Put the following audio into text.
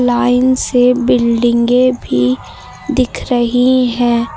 Line से बिल्डिंगे भी दिख रही है।